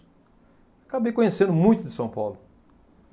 Acabei conhecendo muito de São Paulo.